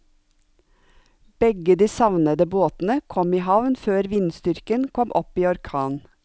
Begge de savnede båtene kom i havn før vindstyrken kom opp i orkan.